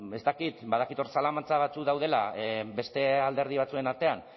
ez dakit badakit hor zalantza batzuk daudela beste alderdi batzuen artean